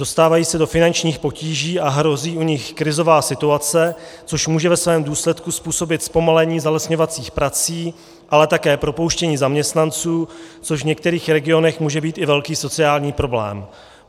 Dostávají se do finančních potíží a hrozí u nich krizová situace, což může ve svém důsledku způsobit zpomalení zalesňovacích prací, ale také propouštění zaměstnanců, což v některých regionech může být i velký sociální problém.